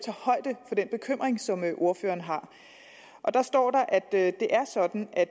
højde for den bekymring som ordføreren har der står at det er sådan at